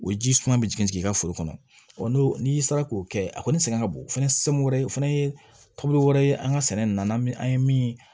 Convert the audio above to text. O ji suma bɛ jigin i ka foro kɔnɔ n'o n'i sera k'o kɛ a kɔni sɛgɛn ka bon o fana wɛrɛ o fana ye taabolo wɛrɛ ye an ka sɛnɛ na n'an ye min